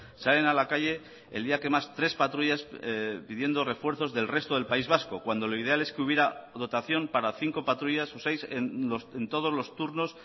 salen a la calle el día que más tres patrullas pidiendo refuerzos del resto del país vasco cuando lo ideal es que hubiera dotación para cinco patrullas o seis en todos los turnos